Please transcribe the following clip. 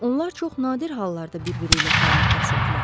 Onlar çox nadir hallarda bir-biri ilə kəlmə kəsirdilər.